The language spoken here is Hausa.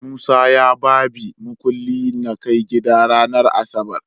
Musa ya babi mukuli nakai gida ranar asabar